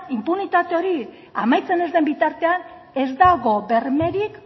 inpunitate hori amaitzen ez den bitartean ez dago bermerik